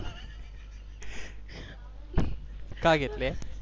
का घेतल्या?